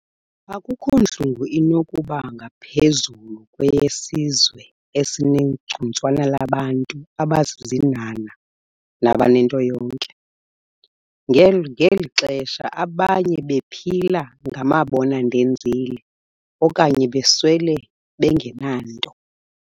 Akukho ntlungu inokuba ngaphezulu kweyesizwe esinegcuntswana labantu abazizinhanha nabanento yonke, ngeli xesha abanye bephila ngamabona-ndenzile, okanye beswele bengenanto.